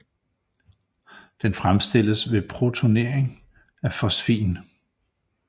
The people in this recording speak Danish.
Den fremstilles ved protonering af fosfin